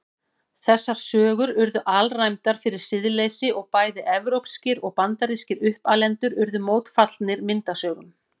Þessar sögur urðu alræmdar fyrir siðleysi og bæði evrópskir og bandarískir uppalendur urðu mótfallnir myndasögum.